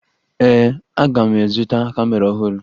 Ee, aga m azụta kamera ọhụrụ